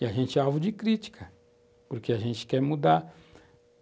E a gente é alvo de crítica, porque a gente quer mudar.